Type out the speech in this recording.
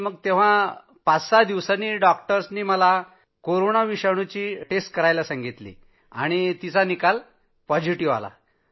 तेव्हा पाच सहा दिवसांनी डॉक्टर्सनी कोरोना विषाणुची चाचणी केली आणि तेव्हा निकाल पॉझिटिव्ह आला होता